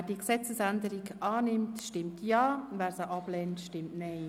Wer diese Gesetzesänderung annimmt, stimmt Ja, wer diese ablehnt, stimmt Nein.